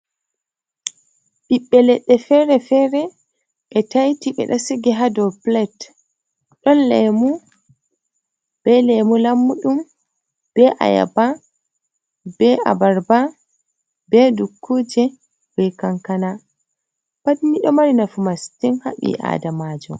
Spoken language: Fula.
Ɓiɓbe Leɗɗe Fere-Fere, e Taiti ɓe ɗa Sigi Hado Plat. ɗon Lemu, be Lemu Lammuɗum, be Ayaba, be Abarba, be Dukkuje, be Kankana, Patni ɗo mari Nafu Mastin ha ɓi Adamajo.